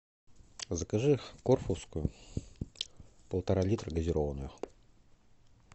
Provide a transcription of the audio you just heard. закажи корфускую полтора литра газированную